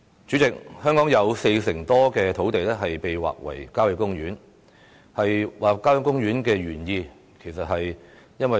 主席，香港有四成多土地劃為郊野公園，面積為亞洲之冠。